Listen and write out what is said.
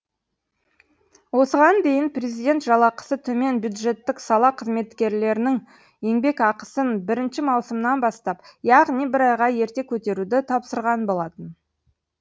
осыған дейін президент жалақысы төмен бюджеттік сала қызметкерлерінің еңбекақысын бірінші маусымнан бастап яғни бір айға ерте көтеруді тапсырған болатын